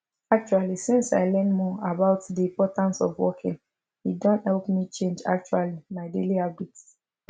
actually since i learn more about the importance of walking e don help me change actually my daily habits